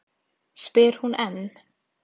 spyr hún enn.